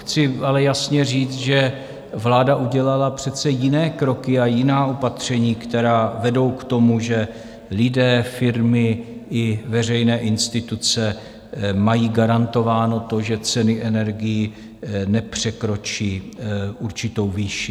Chci ale jasně říct, že vláda udělala přece jiné kroky a jiná opatření, která vedou k tomu, že lidé, firmy i veřejné instituce mají garantováno to, že ceny energií nepřekročí určitou výši.